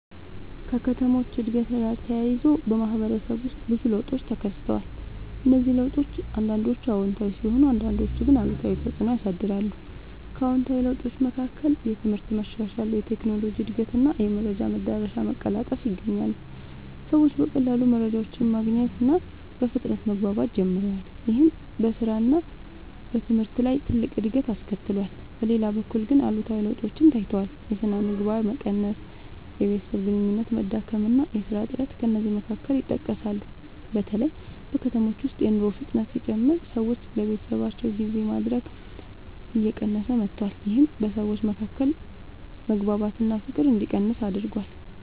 ከከተሞች እድገት ጋር ተያይዞ በማህበረሰብ ውስጥ ብዙ ለውጦች ተከስተዋል። እነዚህ ለውጦች አንዳንዶቹ አዎንታዊ ሲሆኑ አንዳንዶቹ ግን አሉታዊ ተፅዕኖ ያሳያሉ። ከአዎንታዊ ለውጦች መካከል የትምህርት መሻሻል፣ የቴክኖሎጂ እድገት እና የመረጃ መዳረሻ መቀላጠፍ ይገኛሉ። ሰዎች በቀላሉ መረጃ ማግኘት እና በፍጥነት መግባባት ጀምረዋል። ይህም በስራ እና በትምህርት ላይ ትልቅ እድገት አስከትሏል። በሌላ በኩል ግን አሉታዊ ለውጦችም ታይተዋል። የሥነ ምግባር መቀነስ፣ የቤተሰብ ግንኙነት መዳከም እና የሥራ እጥረት ከእነዚህ መካከል ይጠቀሳሉ። በተለይ በከተሞች ውስጥ የኑሮ ፍጥነት ሲጨምር ሰዎች ለቤተሰባቸው ጊዜ ማድረግ እየቀነሰ መጥቷል። ይህም በሰዎች መካከል መግባባት እና ፍቅር እንዲቀንስ አድርጓል።